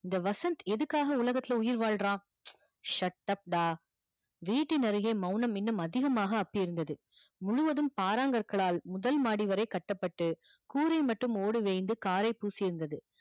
இந்த வசந்த் எதுக்காக இந்த உலகத்துல உயிர் வாழுறான் shut up டா வீட்டின் அருகே மௌனம் இன்னும் அதிகமாக அப்பி இருந்தது முழுவதும் பாறாங் கற்களால் முதல் மாடி வரை கட்டப்பட்டு கூரை மட்டும் ஓட பூசி இருந்தது